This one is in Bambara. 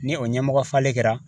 Ni o ɲɛmɔgɔ falen kɛra